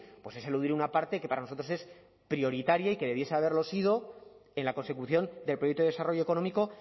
pues es eludir una parte que para nosotros es prioritaria y que debería haberlo sido en la consecución del proyecto de desarrollo económico